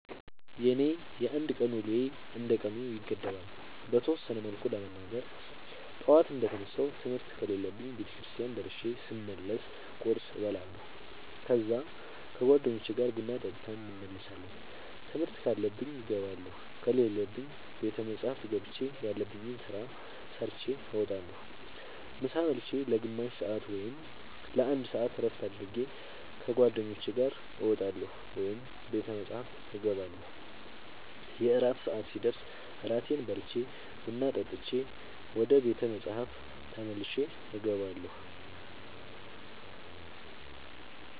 የኔ የአንድ ቀን ውሎዬ እንደ ቀኑ ይገደባል። በተወሰነ መልኩ ለመናገር ጠዋት እንደ ተነሳሁ ትምህርት ከሌለብኝ ቤተክርስቲያን ደርሼ ስመለስ ቁርስ እበላለሁ ከዛ ከ ጓደኞቼ ጋር ቡና ጠጥተን እንመለሳለን ትምህርት ካለብኝ እገባለሁ ከሌለብኝ ቤተ መፅሐፍ ገብቼ ያለብኝን ስራ ሰርቼ እወጣለሁ። ምሳ ብልቼ ለ ግማሽ ሰአት ወይም ለ አንድ ሰአት እረፍት አድርጌ ከ ጓደኞቼ ጋር እወጣለሁ ወይም ቤተ መፅሐፍ እገባለሁ። የእራት ሰአት ሲደርስ እራቴን በልቼ ቡና ጠጥቼ ወደ ቤተ መፅሐፍ ተመልሼ እገባለሁ።